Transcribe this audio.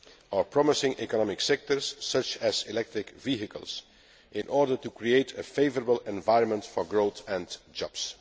or promising economic sectors such as electric vehicles, in order to create a favourable environment for growth and jobs.